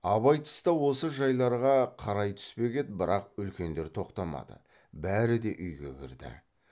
абай тыста осы жайларға қарай түспек еді бірақ үлкендер тоқтамады бәрі де үйге кірді